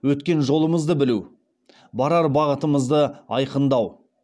өткен жолымызды білу барар бағытымызды айқындау